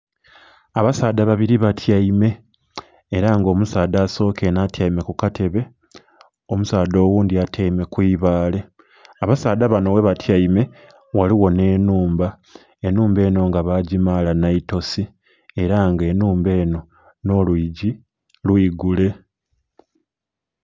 Abasaadha babiri batyaime era nga omusaadha asoka enho atyaime ku katebe, omusaadha oghundhi atyaime ku ibaale. Abasaadha banho ghebatyaime ghaligho nhe enhumba, enhumba enho nga bagimaala naitosi era nga enhumba enho nho lwiigi lwigule.